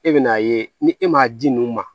E bɛ n'a ye ni e m'a di ninnu ma